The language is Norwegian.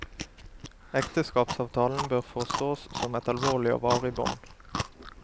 Ekteskapsavtalen bør forstås som et alvorlig og varig bånd.